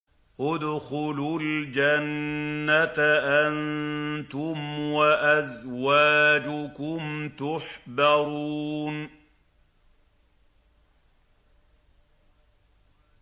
ادْخُلُوا الْجَنَّةَ أَنتُمْ وَأَزْوَاجُكُمْ تُحْبَرُونَ